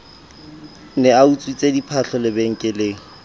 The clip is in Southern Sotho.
ne a utswitse diphahlo lebenkeleng